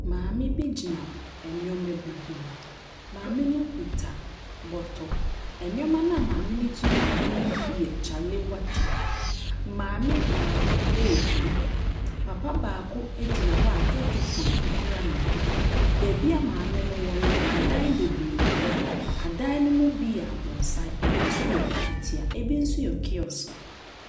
Maame bi gyina nnoɔma bi ho Maame no kuta bɔtɔ. Nnoɔma a maame no gyina ho no bi yɛ kyalewate. Maame baako retwam. Papa baako gyina a tɛtɛfon kura no. Baabi maame no wɔ no adan bebree wɔ hɔ. Adan no mu bi yɛ abrɔsan. Ebi yɛ efitia. Ebi nso yɛ kiosk.